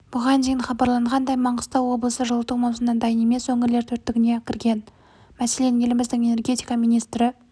бұған дейін хабарланғандай маңғыстау облысы жылыту маусымына дайын емес өңірлер төрттігіне кірген мәселен еліміздің энергетика министрі